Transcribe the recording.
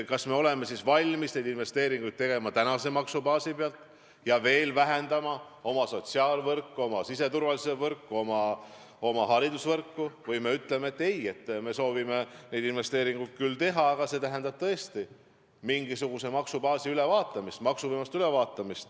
Kas me oleme valmis neid tegema praeguse maksubaasi pealt ja veel vähendama oma sotsiaalvõrku, oma siseturvalisuse võrku ja oma haridusvõrku või me ütleme, et ei, me soovime neid investeeringuid küll teha, aga see tähendab tõesti maksubaasi ja võimaluste ülevaatamist?